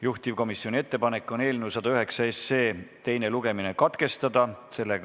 Juhtivkomisjoni ettepanek on eelnõu 109 teine lugemine katkestada.